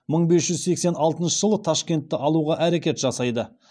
мың бес жүз сексен алтыншы жылы ташкентті алуға әрекет жасайды